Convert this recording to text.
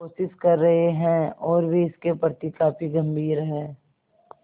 कोशिश कर रहे हैं और वे इसके प्रति काफी गंभीर हैं